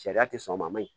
Sariya tɛ sɔn o ma yen